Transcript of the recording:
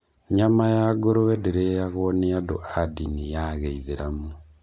Nyama ya ngũrũe ndĩrĩagwo nĩ andũ a ndini ya gĩithĩramu.